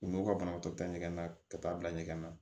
U n'u ka banabagatɔ ta ɲɛgɛn na ka taa bila ɲɛgɛn na